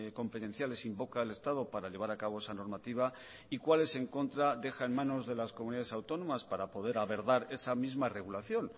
competenciales invoca el estado para llevar a cabo esa normativa y cuáles en contra deja en manos de las comunidades autónomas para poder abordar esa misma regulación